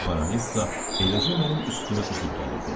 Baronessa eləcə mənim üstümə üzüb gəlirdi.